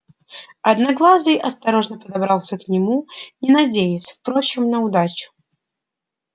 одноглазый осторожно подобрался к нему не надеясь впрочем на удачу